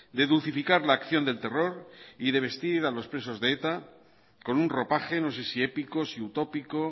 de dulcificar la acción del terror y de vestir a los presos de eta con un ropaje no sé si épico si utópico